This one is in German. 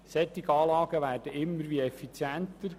Solche Anlagen werden immer effizienter.